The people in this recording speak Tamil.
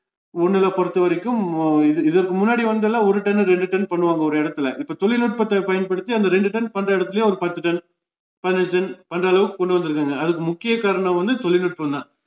ஒண்ணூல பொருத்தவரைக்கும் அஹ் இது இதற்கு முன்னாடி வந்துல்லாம் ஒரு ton, ரெண்டு ton பண்ணுவாங்க ஒரு இடத்துலே இப்போ தொழில்நுட்பத்தை பயன்படுத்தி அந்த ரெண்டு ton பண்ணுற எடத்துலேயே ஒரு பத்து ton, பதினைஞ்சு ton அந்த அளவுக்கு கொண்டுவந்துருக்காங்க அதுக்கு முக்கிய காரணம் வந்து தொழில்நுட்பம்தான்